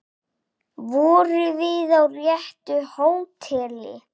Vorum við á réttu hóteli?